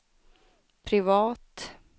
privat